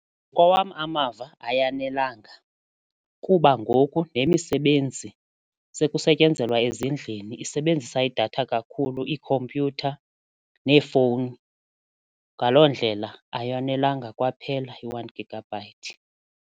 Ngokwawam amava ayanelanga kuba ngoku nemisebenzi sekusetyenzelwa ezindlini isebenzisa idatha kakhulu iikhompyutha neefowuni ngaloo ndlela ayonelanga kwaphela i-one gigabyte.